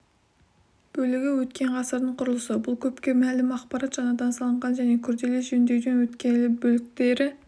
бөлігі өткен ғасырдың құрылысы бұл көпке мәлім ақпарат жаңадан салынған және күрделі жөндеуден өткен бөліктері